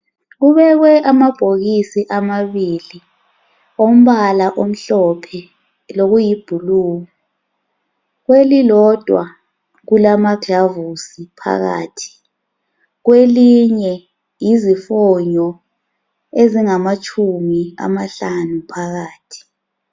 Kubekwe amabhokisi amabili ompala omhlophe lokuyiblue. Kwelilodwa kulamaglavusi phakathi kwelinye yizifonyo ezingamatshumi amahlanu phakathi.